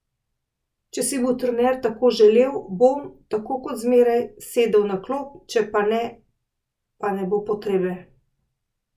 Če si bo trener tako želel, bom, tako kot zmeraj, sedel na klop, če pa ne, pa ne bo potrebe.